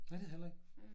Nej det heller ikke